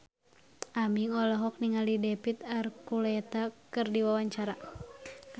Aming olohok ningali David Archuletta keur diwawancara